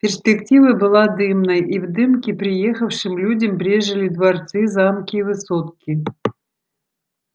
перспектива была дымной и в дымке приехавшим людям брезжили дворцы замки и высотки